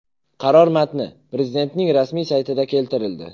Qaror matni Prezidentning rasmiy saytida keltirildi .